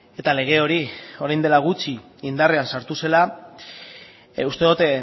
eta lege hori orain dela gutxi indarrean sartu zela uste dut